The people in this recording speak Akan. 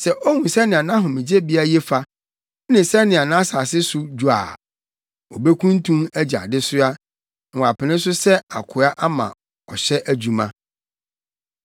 Sɛ ohu sɛnea nʼahomegyebea ye fa, ne sɛnea nʼasase no so dwo a, obekuntun agye adesoa, na wapene so sɛ akoa ama ɔhyɛ adwuma.